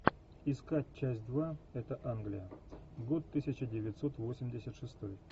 искать часть два это англия год тысяча девятьсот восемьдесят шестой